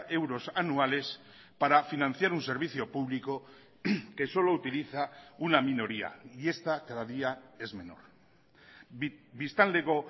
euros anuales para financiar un servicio público que solo utiliza una minoría y esta cada día es menor biztanleko